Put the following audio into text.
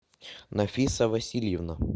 нафиса васильевна